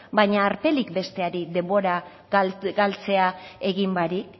baina alperrik besteari denbora galtzea egin barik